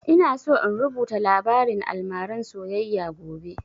Ina so in rubuta labarin almaran soyayya gobe